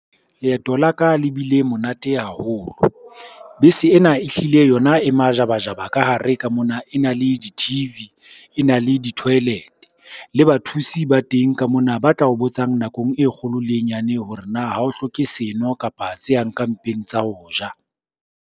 Leeto la ka le bile monate haholo bese ena ehlile yona e majabajaba ka hare ka mona, e na le di-T_V, e na le di-toilet. Le bathusi ba teng ka mona ba tla o botsang nakong e kgolo le e nyane, hore na ha o hloke seno kapa tse yang ka mpeng tsa ho ja.